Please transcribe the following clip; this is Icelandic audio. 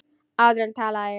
Áður talaði ég.